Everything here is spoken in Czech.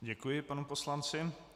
Děkuji panu poslanci.